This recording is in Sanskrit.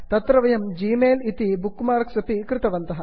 तत्र वयं ग्मेल जिमेल् प्रति बुक् मार्क्स् अपि कृतवन्तः